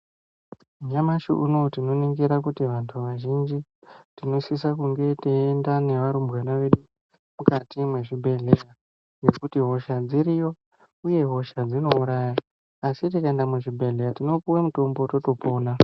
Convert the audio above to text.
Nyamashi unowu tinoningira kuti vantu vazhinji tinosisa teyienda nevarumbwana vedu mukati mwezvibhedhlera nekuti hosha dziriyo uye hosha dzinouraya asi tikaenda muzvibhedhlera tinopiwa mutombo totopona.